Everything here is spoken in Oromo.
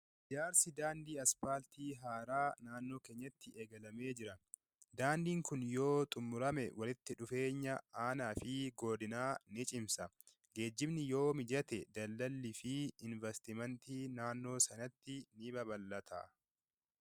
Ijaarsi daandii aspaaltii haaraa naannoo keenyatti daagatamee jira. Daandiin kun yoo xummurame walitti dhufeenya aanaa fi godinaa ni cimsa. Geejjibni yoo mijate daldaallii fi inveestimeentiin naannoo sanatti ni babal'ata.